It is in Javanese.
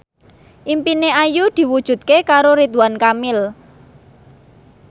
impine Ayu diwujudke karo Ridwan Kamil